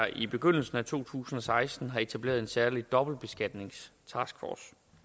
i begyndelsen af to tusind og seksten har etableret en særlig dobbeltbeskatningstaskforce